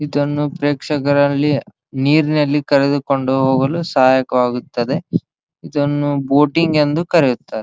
ಇದನ್ನು ಪ್ರೇಕ್ಷಕರಲ್ಲಿ ನೀರಿನಲ್ಲಿ ಕರೆದುಕೊಂಡು ಹೋಗಲು ಸಹಾಯಕವಾಗುತ್ತದೆ ಇದನ್ನು ಬೋಟಿಂಗ್ ಎಂದು ಕರೆಯುತ್ತಾರೆ.